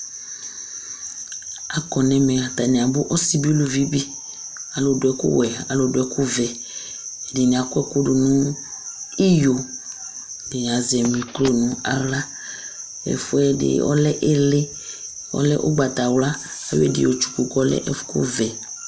Akɔ nʋ ɛmɛ atani abʋ Asi bi, alʋvi bi Alu du ɛku wɛ, alu du ɛku vɛ Ɛdiní akɔ ɛku du nʋ iyo Ɛdiní azɛ mikro nʋ aɣla Ɛfʋɛdi ɔlɛ ìlí, ɔlɛ ugbatawla Ayɔ ɛdí yɔtsuku kʋ ɔlɛ ɛkʋ vɛ